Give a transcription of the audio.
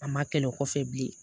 A ma kɛlɛ o kɔfɛ bilen